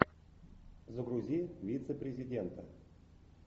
загрузи вице президента